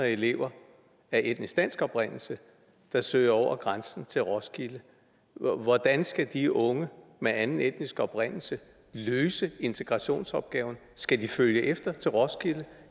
elever af etnisk dansk oprindelse der søger over grænsen til roskilde hvordan skal de unge med anden etnisk oprindelse løse integrationsopgaven skal de følge efter til roskilde